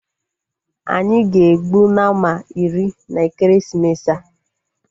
Anyị ga-egbu Nama iri na ekeresimesi a